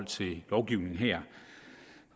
til lovgivningen her